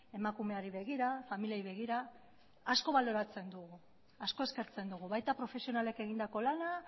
emakumeari begira familiei begira asko baloratzen dugu asko eskertzen dugu baita profesionalek egindako lana